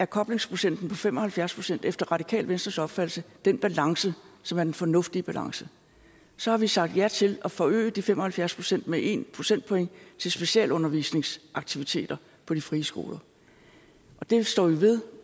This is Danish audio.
koblingsprocenten på fem og halvfjerds procent er efter radikale venstres opfattelse den balance som er den fornuftige balance så har vi sagt ja til at forøge de fem og halvfjerds procent med en procentpoint til specialundervisningsaktiviteter på de frie skoler og det står vi ved